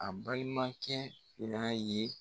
A balimakɛ fila ye.